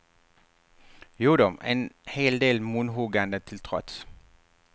Jodå, en hel del munhuggande till trots.